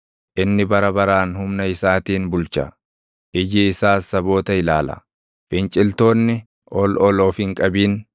Inni bara baraan humna isaatiin bulcha; iji isaas saboota ilaala; finciltoonni ol ol of hin qabin.